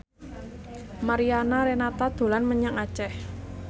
Mariana Renata dolan menyang Aceh